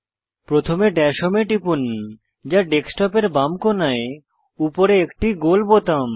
প্রথমে dash home এ টিপুন যা ডেস্কটপের বাম কোণায় উপরে একটি গোল বোতাম